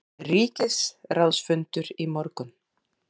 Ríkisráðsfundur í morgun